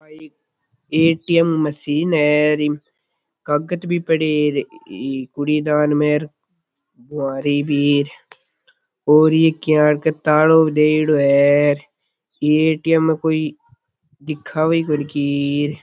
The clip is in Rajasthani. आ एक ए.टी.एम मशीन है इम कागज भी पड़े है कूड़े दान मे तालो दियोड़ो है इ ए.टी.ए.म में कोई दिखावे ही कोनी की --